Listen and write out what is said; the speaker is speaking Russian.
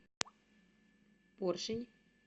поршень